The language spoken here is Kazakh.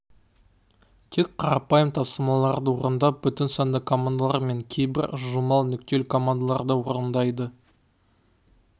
тек қарапайым тапсырмаларды орындап бүтін санды командалар мен кейбір жылжымалы нүктелі командаларды орындайды